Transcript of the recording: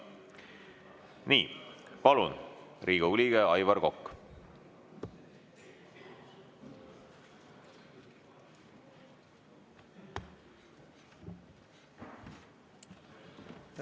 Nii, palun, Riigikogu liige Aivar Kokk!